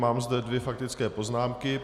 Mám zde dvě faktické poznámky.